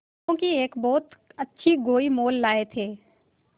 बैलों की एक बहुत अच्छी गोई मोल लाये थे